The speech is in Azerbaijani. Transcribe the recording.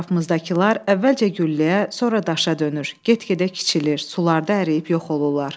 Ətrafımızdakılar əvvəlcə gülləyə, sonra daşa dönür, get-gedə kiçilir, sularda əriyib yox olurlar.